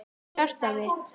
Hjartað mitt